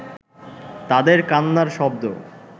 তাঁদের কান্নার শব্দ